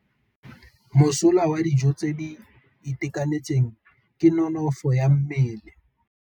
Mosola wa dijô tse di itekanetseng ke nonôfô ya mmele.